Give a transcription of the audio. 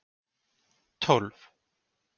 tólf